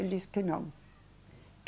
Ele disse que não.